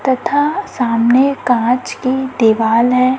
तथा सामने कांच की दीवाल है।